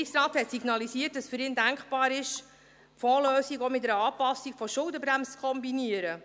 Der Regierungsrat hat signalisiert, dass für ihn denkbar ist, die Fondslösung auch mit einer Anpassung der Schuldenbremse zu kombinieren.